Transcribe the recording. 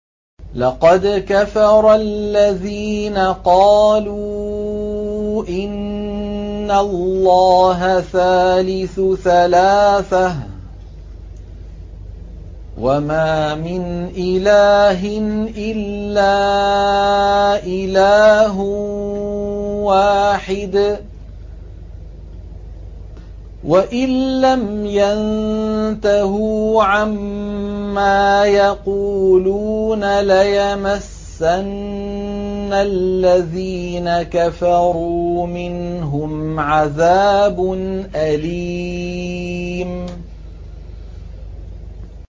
لَّقَدْ كَفَرَ الَّذِينَ قَالُوا إِنَّ اللَّهَ ثَالِثُ ثَلَاثَةٍ ۘ وَمَا مِنْ إِلَٰهٍ إِلَّا إِلَٰهٌ وَاحِدٌ ۚ وَإِن لَّمْ يَنتَهُوا عَمَّا يَقُولُونَ لَيَمَسَّنَّ الَّذِينَ كَفَرُوا مِنْهُمْ عَذَابٌ أَلِيمٌ